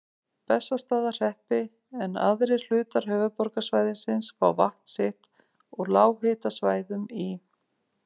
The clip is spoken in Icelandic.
Bessastaðahreppi, en aðrir hlutar höfuðborgarsvæðisins fá vatn sitt úr lághitasvæðum í